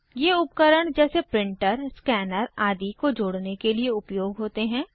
ये उपकरण जैसे प्रिंटर स्कैनर आदि को जोड़ने के लिए उपयोग होते हैं